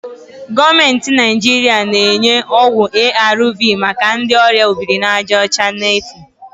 Gọọmentị Naijiria na-enye ọgwụ ARV maka ndị ọrịa obirinajaọcha n'efu